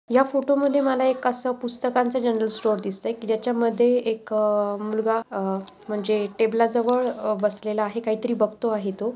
या फोटो मध्ये मला एक आस पुस्तकांच जनरल स्टोरेस दिसत आहे की जच्या मध्ये एक मुलगा म्हणजे टेबला जवळ बसलेला आहे म्हणजे काही तरी बागतो आहे तो.